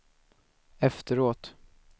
efteråt